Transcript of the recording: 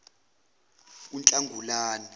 unhlangulane